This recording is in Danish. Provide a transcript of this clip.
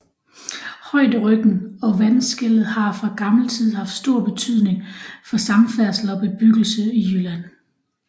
Højderyggen og vandskellet har fra gammel tid haft stor betydning for samfærdsel og bebyggelse i Jylland